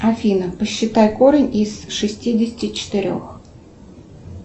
афина посчитай корень из шестидесяти четырех